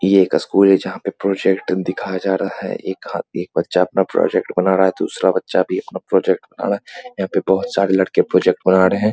ये एक स्कूल है जहाँ पे प्रोजेक्ट दिखाया जा रहा है एक आ एक बच्चा अपना प्रोजेक्ट बना रहा है दूसरा बच्चा भी अपना प्रोजेक्ट बना रहा है यहाँ पर बहुत सारे लड़के प्रोजेक्ट बना रहे --